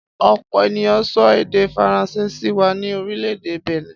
Ọ̀pọ̀ ènìyàn sọ èdè Faransé sí wa ní orílẹ̀-èdè Bẹ̀nẹ̀.